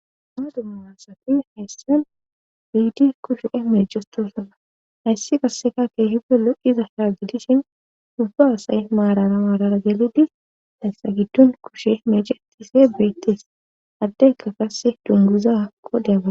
Ana dummamassati hayssan biidi kushe e meechestosana hayssi kasseka kee hidelo"iza haajidishin dubba asay maarara maarara gelidis hayssa giddun kushe meeche etise beettes addekka kase dunguza hakko deabaa